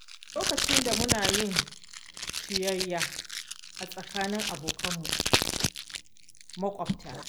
A lokacin da muna yin ciyayya a tsakanin abokanmu maƙwabta.